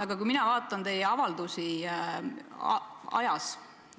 Aga kui mina vaatan teie tehtud avaldusi,